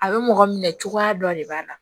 A bɛ mɔgɔ minɛ cogoya dɔ de b'a la